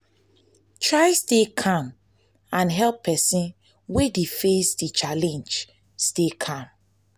try stay calm and help persin wey de face di challenge stay calm